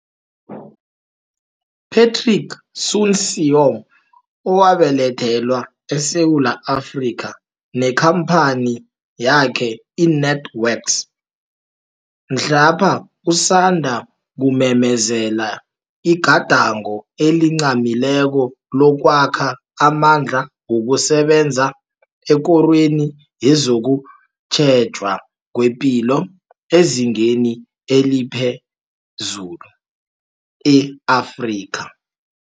Patrick Soon-Shiong owabelethelwa eSewula Afrika nekhamphani yakhe i-NantWorks mhlapha usandukumemezela igadango elincamileko lokwakha amandla wokusebenza ekorweni yezokutjhejwa kwepilo ezingeni eliphezulu, e-Afrika.